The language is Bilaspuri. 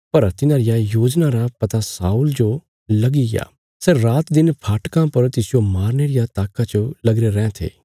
पर तिन्हां रिया योजना रा पता शाऊला जो लगीग्या सै रातदिन फाटकां पर तिसजो मारने रिया ताक्का च लगीरे रैयाँ थे